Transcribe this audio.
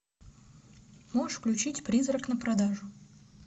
можешь включить призрак на продажу